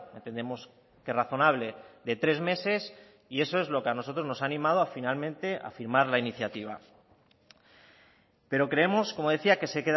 entendemos que razonable de tres meses y eso es lo que a nosotros nos ha animado a finalmente a firmar la iniciativa pero creemos como decía que se